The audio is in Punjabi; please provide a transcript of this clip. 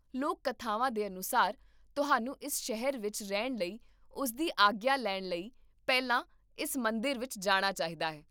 ਲੋਕ ਕਥਾਵਾਂ ਦੇ ਅਨੁਸਾਰ, ਤੁਹਾਨੂੰ ਇਸ ਸ਼ਹਿਰ ਵਿੱਚ ਰਹਿਣ ਲਈ ਉਸਦੀ ਆਗਿਆ ਲੈਣ ਲਈ ਪਹਿਲਾਂ ਇਸ ਮੰਦਰ ਵਿੱਚ ਜਾਣਾ ਚਾਹੀਦਾ ਹੈ